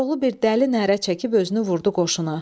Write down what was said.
Koroğlu bir dəli nərə çəkib özünü vurdu qoşuna.